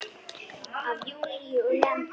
Af Júlíu og Lenu.